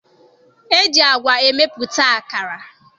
E ji agwa emepụta akara